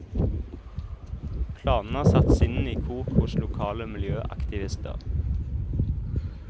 Planene har satt sinnene i kok hos lokale miljøaktivister.